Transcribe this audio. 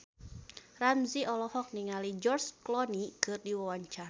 Ramzy olohok ningali George Clooney keur diwawancara